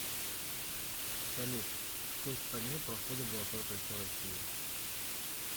салют по какой стране проходит золотое кольцо россии